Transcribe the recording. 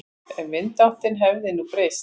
Ef vindáttin hefði nú breyst.